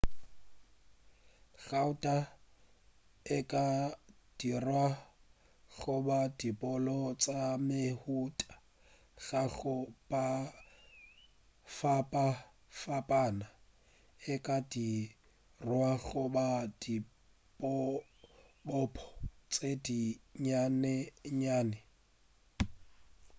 gauta e ka dirwa go ba dibopo tša mehuta ya go fapafapana e ka dirwa go ba dibopo tše di nnyanennyane